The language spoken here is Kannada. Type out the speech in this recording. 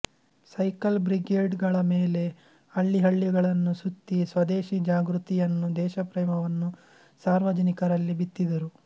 ಸೈಕಲ್ ಬ್ರಿಗೇಡ್ ಗಳಮೇಲೆ ಹಳ್ಳಿಹಳ್ಳಿಗಳನ್ನು ಸುತ್ತಿ ಸ್ವದೇಶೀ ಜಾಗೃತಿಯನ್ನೂ ದೇಶಪ್ರೇಮವನ್ನೂ ಸಾರ್ವಜನಿಕರಲ್ಲಿ ಬಿತ್ತಿದರು